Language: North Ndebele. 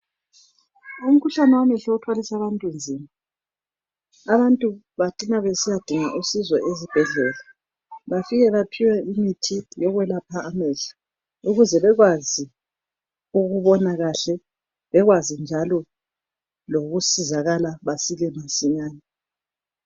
Umkhuhlane wamehlo uthwalise abantu nzima abantu bacina besiyadinga usizo ezibhedlela bafike baphiwe imithi yokwelapha amehlo ukuze bekwazi ukubona kahle bekwazi njalo lokusizakala basile masinyane.